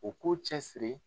O k'o cɛ siri